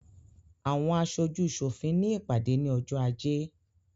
Àwọn aṣojú sòfin ní ìpàdé ní ọjọ́ ajé